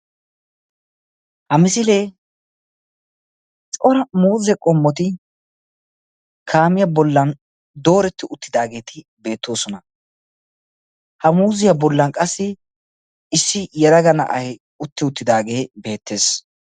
ha misiliee cora muuze qommoti kaamiya bollan dooreti uttidaageeti beettoosna. ha muuziya bollan qassi issi yelaga na'ay utti uttidaagee beettees.